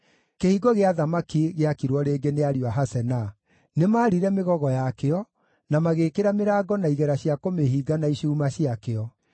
Kĩhingo gĩa Thamaki gĩakirwo rĩngĩ nĩ ariũ a Hasenaa. Nĩmarire mĩgogo yakĩo, na magĩĩkĩra mĩrango na igera cia kũmĩhinga na icuuma ciakĩo.